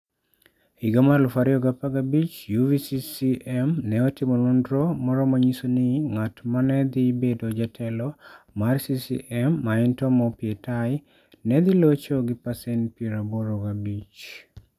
E higa mar 2015, UVCCM ne otimo nonro moro ma ne nyiso ni ng'at ma ne dhi bedo jatelo mar CCM, ma en Tom Opietai, ne dhi locho gi pasent 85.